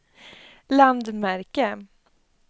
landmärke